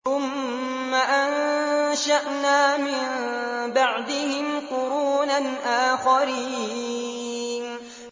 ثُمَّ أَنشَأْنَا مِن بَعْدِهِمْ قُرُونًا آخَرِينَ